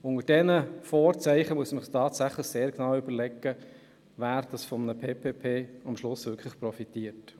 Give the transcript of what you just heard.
Unter diesen Vorzeichen, muss man sich genau überlegen, wer schliesslich von einem PPP-Projekt tatsächlich profitiert.